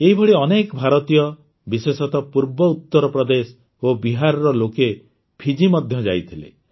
ଏହିଭଳି ଅନେକ ଭାରତୀୟ ବିଶେଷତଃ ପୂର୍ବ ଉତର ପ୍ରଦେଶ ଓ ବିହାରର ଲୋକେ ଫିଜି ମଧ୍ୟ ଯାଇଥିଲେ